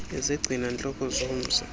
izigcina ntloko zomsi